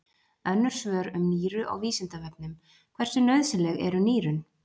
Önnur svör um nýru á Vísindavefnum: Hversu nauðsynleg eru nýrun?